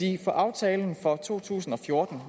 i aftalen for to tusind og fjorten